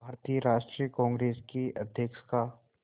भारतीय राष्ट्रीय कांग्रेस के अध्यक्ष का